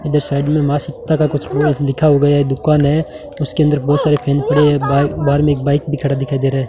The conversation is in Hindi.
इधर साइड में मां सीता का कुछ लिखा होगा यह दुकान है उसके अंदर बहुत सारे पेन पड़े है बा बाहर में एक बाइक भी खड़ा दिखाई दे रहा है।